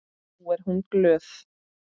Nú er hún glöð.